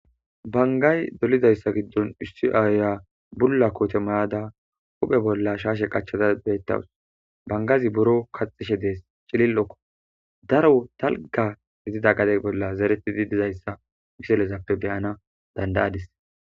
Bangay dolidayssa giddon ussi aaya bulla koote mayada huphe bolla shaashe qachata beettawus bangazi buro kaxishe dees chilil'okko daro talga gidida gade bolla zereti di dizayssa iselezappe beyana dandayadis